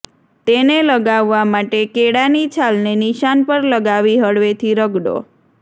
તેને લગાવવા માટે કેળાની છાલને નિશાન પર લગાવી હળવેથી રગડો